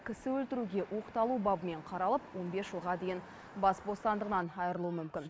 кісі өлтіруге оқталу бабымен қаралып он бес жылға дейін бас бостандығынан айырылуы мүмкін